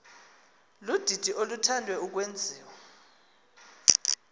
ludidi oluthande ukwenziwa